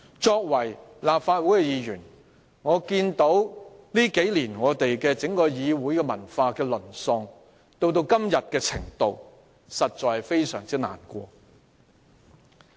身為立法會議員，我眼見議會文化在數年間淪落至今天的地步，實在感到非常難過。